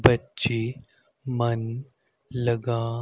बच्चे मन लगा--